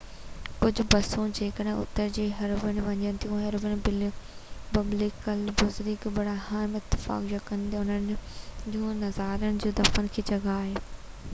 ڪجهہ بسون جيڪي اتر کان هيبرون وڃن ٿيون هيبرون ببليکل بزرگ ابراهيم اسحاق يعقوب ۽ انهن جون زالن جي دفن جي جڳهہ آهي